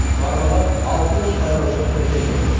барлығы алты мың сайлаушы тіркелген